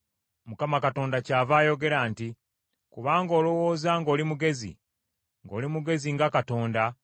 Mukama Katonda kyava ayogera nti, “Kubanga olowooza ng’oli mugezi, ng’oli mugezi nga katonda,